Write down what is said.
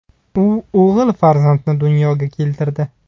U o‘g‘il farzandni dunyoga keltirdi.